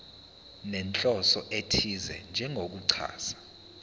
nenhloso ethize njengokuchaza